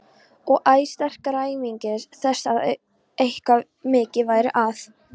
Og æ sterkari áminning þess að eitthvað mikið væri að.